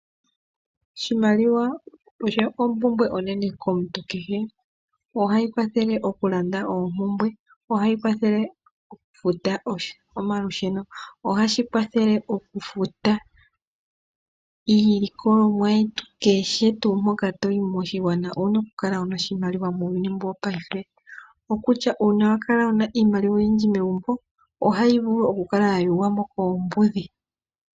Oshimaliwa osho ompumbwe onene komuntu kehe. Ohayi kwathele okulanda oompumbwe, ohayi kwathele okufuta omalusheno, ohashi kwathele okufuta iilikolomwa yetu, Keshe tu mpoka to yi moshigwana owu na okukala wu na oshimaliwa muuyuni mbu wopayife. Okutya uuna wakala wu na iimaliwa oyindji megumbo ohayi vulu okukala ya yu gumwa mo keembudhi.